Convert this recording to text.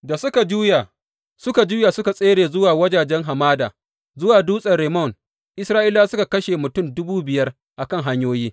Da suka juya suka juya suka tsere zuwa wajajen hamada zuwa dutsen Rimmon, Isra’ilawa suka kashe mutum dubu biyar a kan hanyoyi.